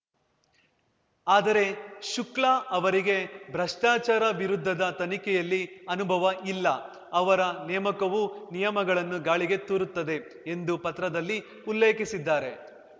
ಆದರೆ ಶುಕ್ಲಾ ಅವರಿಗೆ ಭ್ರಷ್ಟಾಚಾರ ವಿರುದ್ಧದ ತನಿಖೆಯಲ್ಲಿ ಅನುಭವ ಇಲ್ಲ ಅವರ ನೇಮಕವು ನಿಯಮಗಳನ್ನು ಗಾಳಿಗೆ ತೂರುತ್ತದೆ ಎಂದು ಪತ್ರದಲ್ಲಿ ಉಲ್ಲೇಖಿಸಿದ್ದಾರೆ